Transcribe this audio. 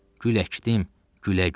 Gül əkdim, gülə-gülə.